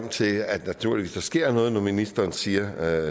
til at der naturligvis sker noget når ministeren siger